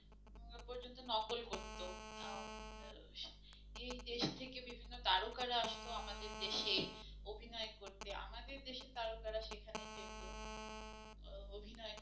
এই দেশ থেকে বিভিন্ন তারকা রা আসতো আমাদের দেশে অভিনয় করতে আমাদের দেশে তারকারা সেখানে যেত অভিনয় করতে